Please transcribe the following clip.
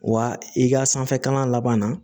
Wa i ka sanfɛ kalan laban na